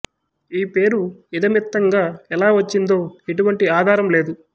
ఈ పేరు ఇదమిత్థంగా ఎలా వచ్చిందో ఎటువంటి ఆధారం లేదు